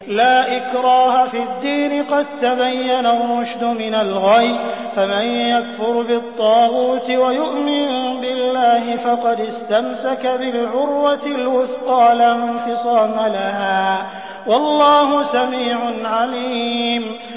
لَا إِكْرَاهَ فِي الدِّينِ ۖ قَد تَّبَيَّنَ الرُّشْدُ مِنَ الْغَيِّ ۚ فَمَن يَكْفُرْ بِالطَّاغُوتِ وَيُؤْمِن بِاللَّهِ فَقَدِ اسْتَمْسَكَ بِالْعُرْوَةِ الْوُثْقَىٰ لَا انفِصَامَ لَهَا ۗ وَاللَّهُ سَمِيعٌ عَلِيمٌ